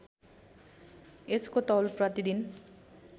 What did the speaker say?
यसको तौल प्रतिदिन